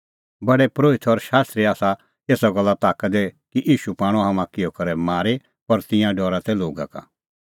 प्रधान परोहित और शास्त्री तै एसा गल्ले ताका दी कि ईशू पाणअ हाम्हां किहअ करै मारी पर तिंयां डरा तै लोगा का